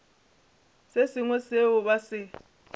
se sengwe seo ba se